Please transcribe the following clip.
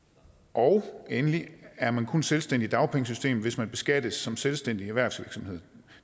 og endelig er man kun selvstændig i dagpengesystemet hvis man beskattes som selvstændig erhvervsvirksomhed